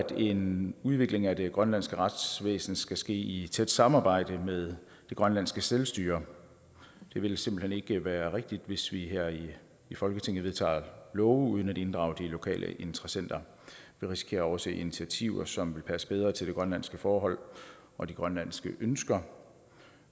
en udvikling af det grønlandske retsvæsen skal ske i tæt samarbejde med det grønlandske selvstyre det vil simpelt hen ikke være rigtigt hvis vi her i folketinget vedtager love uden at inddrage de lokale interessenter vi risikerer at overse initiativer som vil passe bedre til de grønlandske forhold og de grønlandske ønsker